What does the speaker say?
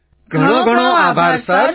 બધા NCC cadet ઘણો ઘણો આભાર સર